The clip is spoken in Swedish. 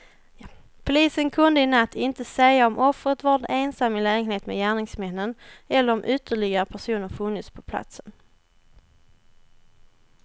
Polisen kunde i natt inte säga om offret varit ensam i lägenheten med gärningsmännen eller om ytterligare personer funnits på platsen.